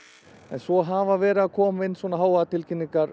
svo hafa verið að koma inn